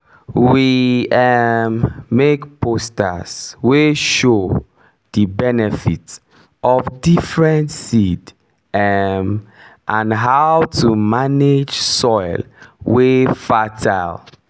we um make posters wey show the benefit of different seed um and how to manage soil wey fertile